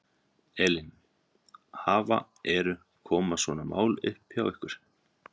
Elín, hafa, eru, koma svona mál upp hjá ykkur?